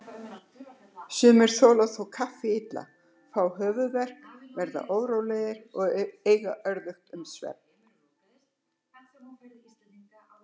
Sumir þola þó kaffi illa, fá höfuðverk, verða órólegir og eiga örðugt með svefn.